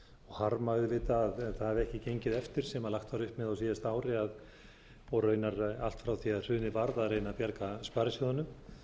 harma auðvitað að það hafi ekki gengið eftir sem lagt var upp með á síðasta ári og raunar allt frá því hrunið varð að reyna að bjarga sparisjóðunum